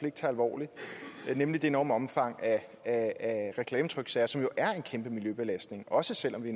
ikke tager alvorligt nemlig det enorme omfang af reklametryksager som jo er en kæmpe miljøbelastning også selv om vi